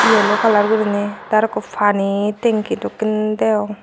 yelo kalar gurinei te araw ekko pani tingki dokken deong.